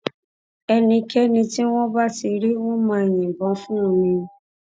ẹnikẹni tí wọn bá ti rí wọn máa yìnbọn fún un ni